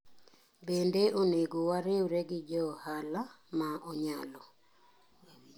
Bende onego wariwre gi jo ohala ma onyalo.